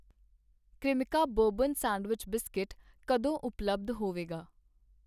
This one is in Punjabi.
ਕ੍ਰਇਮਿਕਾ ਬੋਰਬਨ ਸੈਂਡਵਿਚ ਬਿਸਕੁਟ ਕਦੋਂ ਉਪਲੱਬਧ ਹੋਵੇਗਾ?